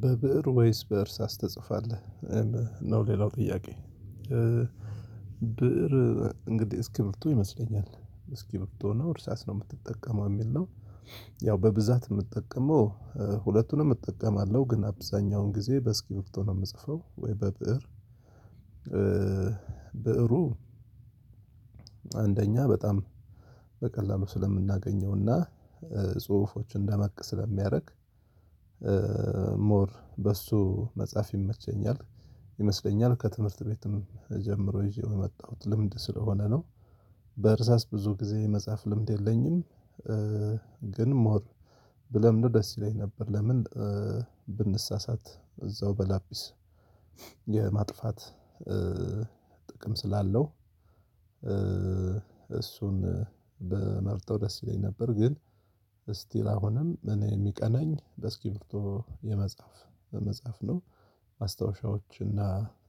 በብእር ወይስ በእርሳስ ትጽፋለህ? ነው ሌላው ጥያቄ? ብእር እንግዲህ እስኪብርቶ ይመስለኛል እስኪብርቶ ነው እርሳስ ነው የምትጠቀመው የሚል ነው። ያው በብዛት የምጠቀመው ሁለቱንም እጠቀማለሁ ግን አብዛኛውን ጊዜ በእስኪብርቶ ነው የምጽፈው ወይ በብእር። ብእሩ አንደኛ በጣም በቀላሉ ስለምናገኘውና ጽሁፎችን ደመቅ ስለሚያደርግ ሞር በሱ መጻፍ ይመቸኛል። ይመስለኛል ከትምህርት ቤትም ጀምሮ ይዤው የመጣሁት ልምድ ስለሆነ ነው። በእርሳስ ብዙ ጊዜ የመጽሐፍ ልምድ የለኝም። ግን ሞር ብለምደው ደስ ይለኝ ነበር። ለምን? ብንሳሳት እዛው በላፒስ የማጥፋት ጥቅም ስላለው እሱን ብመርጠው ደስ ይለኝ ነበር። ግን እስቲ አሁንም እኔ የሚቀናኝ በእስኪብርቶ የመጻፍ በመጻፍ ነው። ማስታወሻዎች እና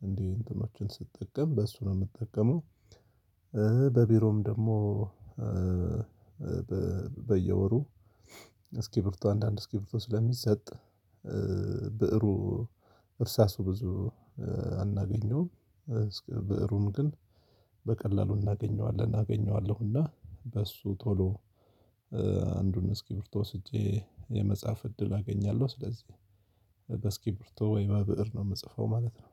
እንዲህ እንትኖችን ስትጠቀም በሱ ነው የምጠቀመው። በቢሮም ደግሞ በየወሩ እስኪብርቶ አንዳንድ እስኪብርቶ ስለሚሰጥ ብእሩ እርሳሱ ብዙ አናገኘውም እስከ ብእሩም ግን በቀላሉ እናገኘዋለን። አገኘዋለሁና በሱ ቶሎ አንዱን እስኪብርቶ ወስጄ የመጻፍ እድል አገኛለሁ ስለዚህ እስኪብርቶ ወይ በብእር ነው የምጽፈው ማለት ነው።